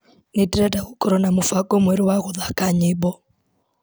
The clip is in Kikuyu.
Nĩndĩrenda gũkorwo na mũbango mwerũ wa gũthaka nyĩmbo.